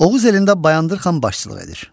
Oğuz elində Bayandur xan başçılıq edir.